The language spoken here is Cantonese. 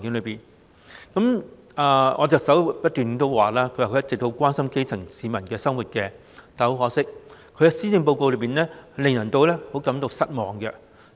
特首一直表示很關心基層市民的生活，但很可惜，她的施政報告令人失望。